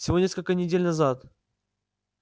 всего несколько недель назад